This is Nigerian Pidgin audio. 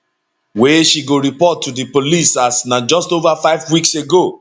wey she go report to di police as na just over five weeks ago